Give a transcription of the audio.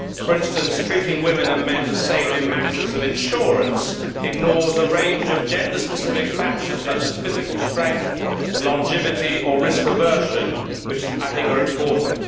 For instance, treating women and men the same in matters of insurance ignores a range of gender specific factors, such as physical strength, longevity or risk aversion, which I think are important.